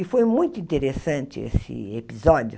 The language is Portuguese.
E foi muito interessante esse episódio.